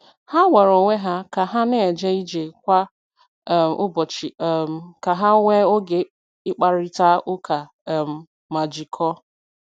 Ha gwara onwe ha ka ha na-eje ije kwa um ụbọchị um ka ha nwee oge ịkparịta ụka um ma jikọọ.